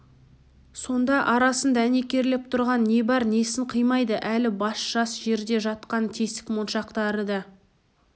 сонда арасын дәнекерлеп тұрған не бар несін қимайды әлі басы жас жерде жатқан тесік моншақты да